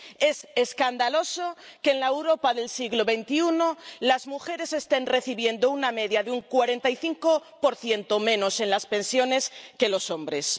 Es escandaloso que en la Europa del siglo XXI las mujeres estén recibiendo una media de un 45 menos en las pensiones que los hombres.